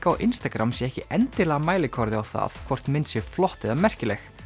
á Instagram sé ekki endilega mælikvarði á það hvort mynd sé flott eða merkileg